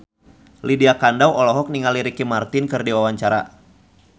Lydia Kandou olohok ningali Ricky Martin keur diwawancara